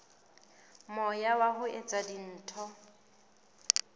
moya wa ho etsa dintho